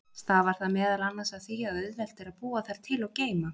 Stafar það meðal annars af því að auðvelt er að búa þær til og geyma.